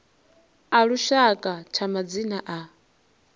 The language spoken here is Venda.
a lushaka tsha madzina a